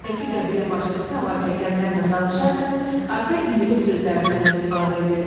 Qayıqdakı qəbilə başçısı avar çəkənlərlə danışarkən arada ingilis sözlərindən də istifadə eləyirdi.